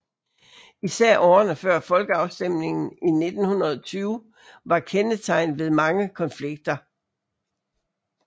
Især årene før folkeafstemningen i 1920 var kendetegnet ved mange konflikter